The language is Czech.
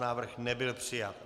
Návrh nebyl přijat.